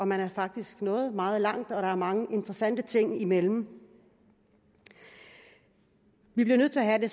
man er faktisk nået meget langt og der er mange interessante ting imellem vi bliver nødt til at have